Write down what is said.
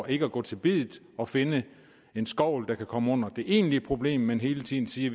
ikke vil gå til biddet og finde en skovl der kan komme under det egentlige problem men hele tiden siger